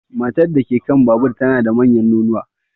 Matar da ke kan babur tana da manyan nonuwa.